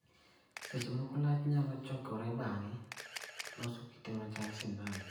Seche moko lach nyalo chokore bang'e loso kite machal sindan